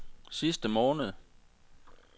sidste måned